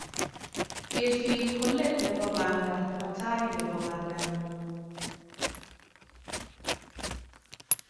Kesir ko let nebo panda ma tai nebo pandangung